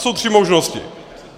Jsou tři možnosti.